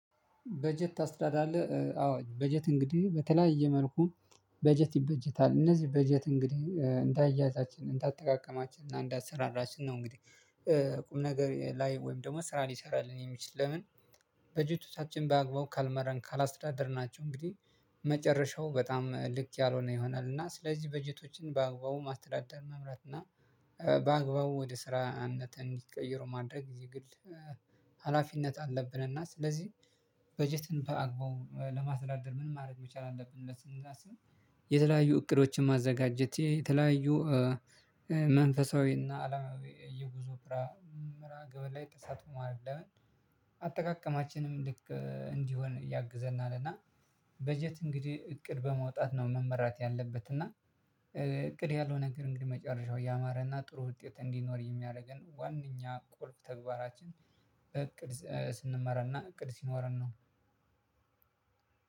በጀት ታስተዳድራለህ? አዎ በጀት እንግዲህ በተለያየ መልኩ በጀት ይበጀታል እነዚህ በጀት እንግዲህ እንዳያያዛችን እንዳጠቃቀማችን እና እንዳሰራራችን ነው። እንግዲህ ቁም ነገር ላይ ወይም ደግሞ ስራ ሊሰራልን የሚችል ለምን በጀቶቻችን ባግባቡ ካልመራን ካላስዳደርናቸው እንግዲህ መጨረሻው በጣም ልክ ያልሆነ ይሆናል። እና ስለዚህ በጀቶችን በአግባቡ ማስተዳደር መምራት እና በአግባቡ ወደ ስራነት እንዲቀይረው ማድረግ ይግል ሀላፊነት አለብን። እና ስለዚህ በጀትን በአግባቡ ለማስተዳደር ምን ማድረግ መቻል አለብን ብለን ስናስብ። የተለያዩ እቅዶችን ማዘጋጀት የተለያዩ መንፈሳዊና አለማዊ የጉዞ ፍራ መርሃ ግብር ላይ ተሳትፎ ማድረግ ለምን አጠቃቀማችንም ልክ እንዲሆን ያግዘናል። እና በጀት እንግዲህ እቅድ በመውጣት ነው መመራት ያለበት እና በእቅድ ያልሆነ ነገር እንግዲህ መጨረሻው ያማረና ጥሩ ውጤት እንዲኖር የሚያደርገን ዋናኛ ቁልፍ ተግባራችን። በእቅድ ስንመራና እቅድ ሲኖረን ነው።